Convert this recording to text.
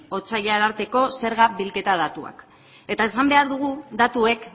otsaila arteko zerga bilketa datuak eta esan behar dugu datuek